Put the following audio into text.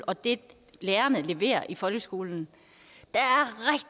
og det lærerne leverer i folkeskolen